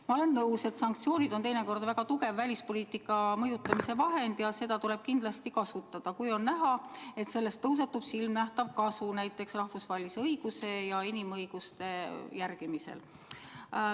Ma olen nõus, et sanktsioonid on teinekord väga tugev välispoliitika mõjutamise vahend ja neid tuleb kindlasti kasutada, kui on näha, et neist tõuseb silmanähtavat kasu näiteks rahvusvahelise õiguse ja inimõiguste järgimisel.